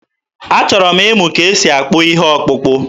Achọrọ m ịmụ ka e si akpụ ihe ọkpụkpụ.